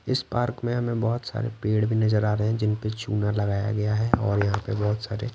इस पार्क में हमें बहुत सारे पेड़ भी नजर आ रहे हैं जिन पे चूना लगाया गया है और यहां पे बहुत सारे--